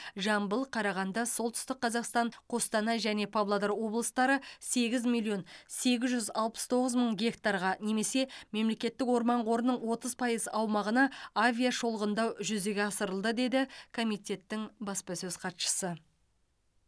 жамбыл қарағанды солтүстік қазақстан қостанай және павлодар облыстары сегіз миллион сегіз жүз алпыс тоғыз мың гектарға немесе мемлекеттік орман қорының отыз пайыз аумағына авиашолғындау жүзеге асырылды деді комитеттің баспасөз хатшысы